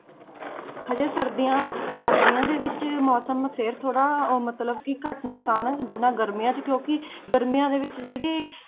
ਹਜੇ ਸਰਦੀਆਂ, ਸਰਦੀਆਂ ਦੇ ਵਿੱਚ ਮੌਸਮ ਫਿਰ ਥੋੜ੍ਹਾ ਉਹ ਮਤਲਬ ਕਿ ਘੱਟ ਨੁਕਸਾਨ ਹੈ ਜਿੰਨਾ ਗਰਮੀਆਂ 'ਚ ਕਿਉਂਕਿ ਗਰਮੀਆਂ ਦੇ ਵਿੱਚ ਜਿਹੜੀ